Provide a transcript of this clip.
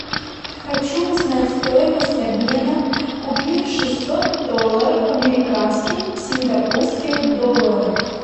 хочу узнать стоимость обмена купив шестьсот долларов американских в сингапурских долларах